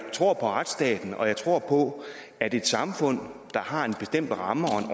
tror på retsstaten og jeg tror på at et samfund der har en bestemt ramme